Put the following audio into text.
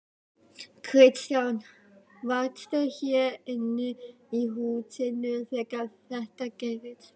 Kristján: Varstu hér inni í húsinu þegar þetta gerðist?